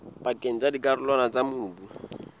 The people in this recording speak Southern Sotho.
pakeng tsa dikarolwana tsa mobu